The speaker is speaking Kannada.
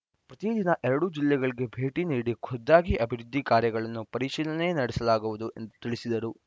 ಪ್ರತಿದಿನ ಎರಡು ಜಿಲ್ಲೆಗಳಿಗೆ ಭೇಟಿ ನೀಡಿ ಖುದ್ದಾಗಿ ಅಭಿವೃದ್ಧಿ ಕಾರ್ಯಗಳನ್ನು ಪರಿಶೀಲನೆ ನಡೆಸಲಾಗುವುದು ಎಂದು ತಿಳಿಸಿದರು